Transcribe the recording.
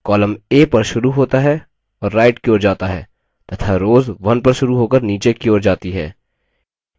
columns a पर शुरू होता है और right की ओर जाता है तथा rows 1 पर शुरू होकर नीचे की ओर जाती है